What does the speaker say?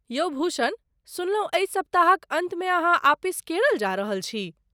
यौ भूषण, सुनलहुँ एहि सप्ताहक अन्तमे अहाँ आपिस केरल जा रहल छी।